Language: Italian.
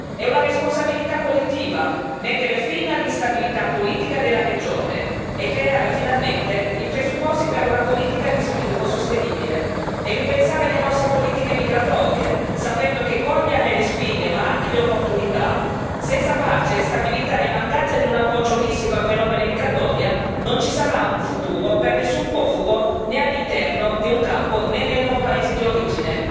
È una responsabilità collettiva mettere fine all'instabilità politica della regione, creare finalmente i presupposti per una politica di sviluppo sostenibile e ripensare le nostre politiche migratorie, sapendo che cogliendone le sfide ma anche le opportunità, senza pace e stabilità e in mancanza di un approccio olistico al fenomeno migratorio, non ci sarà un futuro per nessun profugo né all'interno di un campo né nei loro paesi di origine.